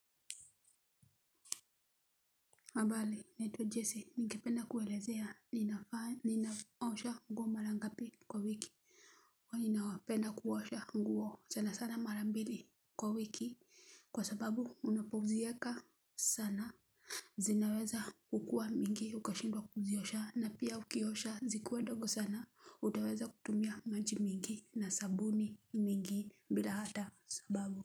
Habari naitwa jese ningependa kuelezea ninaosha nguo mara ngapi kwa wiki huwa na penda kuosha nguo sana sana mara mbili kwa wiki kwa sababu unapoziweka sana zinaweza kukua mingi ukashindwa kuziosha na pia ukiosha zikiwa dogo sana utaweza kutumia maji mingi na sabuni mingi bila hata sababu.